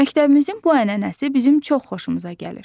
Məktəbimizin bu ənənəsi bizim çox xoşumuza gəlir.